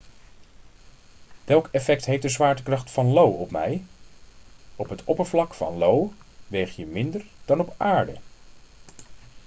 welk effect heeft de zwaartekracht van io op mij op het oppervlak van io weeg je minder dan op aarde